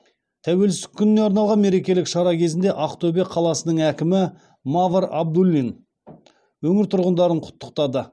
тәуелсіздік күніне арналған мерекелік шара кезінде ақтөбе қаласының әкімі мавр абдуллин өңір тұрғындарын құттықтады